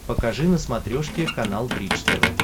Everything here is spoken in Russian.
покажи на смотрешке канал бридж тв